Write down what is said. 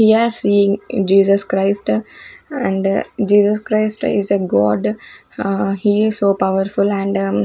we are seeing Jesus Christ and Jesus Christ is a god he is so powerful and --